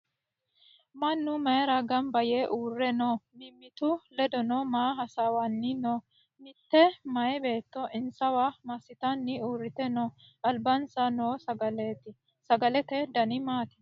Mannu mayiira gambba yee uurre no? Mimmitu ledono maa hasaawanni noo? Mitte meyaa beetto insawa massitanni uurrite noo? Albansaa noo sagallate dani maati?